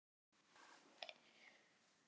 Það er komið sumar.